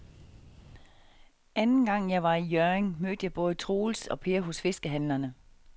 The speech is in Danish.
Anden gang jeg var i Hjørring, mødte jeg både Troels og Per hos fiskehandlerne.